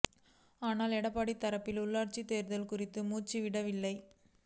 ஆனால் எடப்பாடி தரப்பு உள்ளாட்சித் தேர்தல் குறித்து மூச்சு விடவில்லை